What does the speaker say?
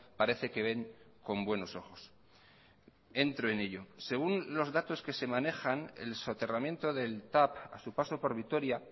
parece que ven con buenos ojos entro en ello según los datos que se manejan el soterramiento del tav a su paso por vitoria